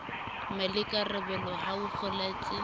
le maikarabelo a ho kgothaletsa